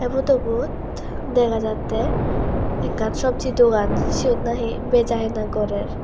ey potobot dega jatte ekkan sobji dogan siot nahi beja hina gorer.